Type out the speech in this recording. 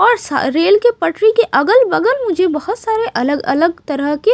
और रेल के पटरी के अगल-बगल मुझे बहुत सारे अलग-अलग तरह के--